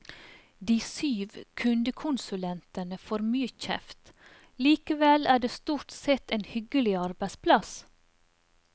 De syv kundekonsulentene får mye kjeft, likevel er det stort sett en hyggelig arbeidsplass.